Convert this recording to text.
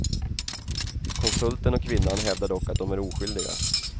Konsulten och kvinnan hävdar dock att de är oskyldiga.